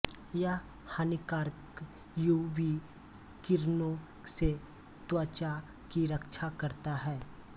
यह हानिकारक UV किरणों से त्वचा की रक्षा करता हैं